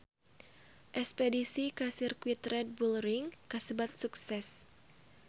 Espedisi ka Sirkuit Red Bull Ring kasebat sukses